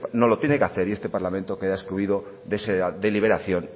no lo tiene que hacer y este parlamento queda excluido de esa deliberación